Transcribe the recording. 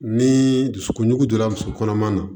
Ni dusukun donna dusu kɔnɔ